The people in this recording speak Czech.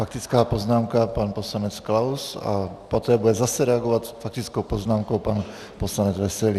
Faktická poznámka - pan poslanec Klaus a poté bude zase reagovat faktickou poznámkou pan poslanec Veselý.